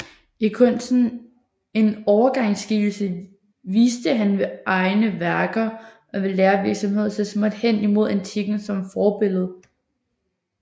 I kunsten en overgangsskikkelse viste han ved egne værker og ved lærervirksomhed så småt hen imod antikken som forbillede